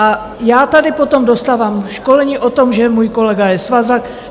A já tady potom dostávám školení o tom, že můj kolega je svazák.